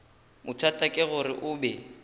bothata ke gore o be